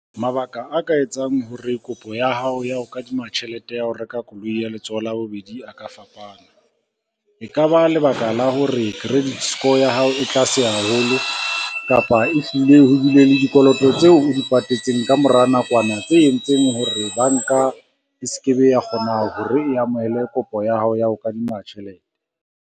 Mabaka a ka etsang hore kopo ya hao ya ho kadima tjhelete ya ho reka koloi ya letsoho labobedi a ka fapana. E ka ba lebaka la hore credit score ya hao e tlase haholo kapa e hlile ho bile le dikoloto tseo o di patetseng ka mora nakwana tse entseng hore banka e se ke be ya kgona hore e amohele kopo ya hao ya ho kadima tjhelete.